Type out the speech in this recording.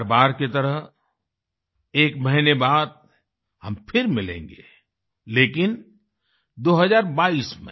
हर बार की तरह एक महीने बाद हम फिर मिलेंगे लेकिन 2022 में